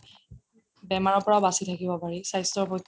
বেমাৰৰ পৰা বাচি থাকিব পাৰি স্বাস্থ্যৰ পক্ষে